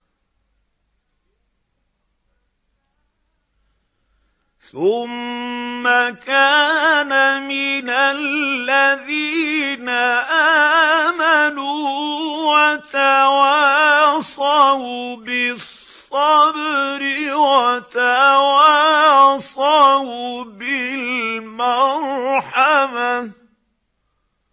ثُمَّ كَانَ مِنَ الَّذِينَ آمَنُوا وَتَوَاصَوْا بِالصَّبْرِ وَتَوَاصَوْا بِالْمَرْحَمَةِ